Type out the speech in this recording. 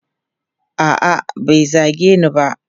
A'a, bai zage ni ba.